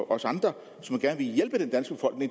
og andre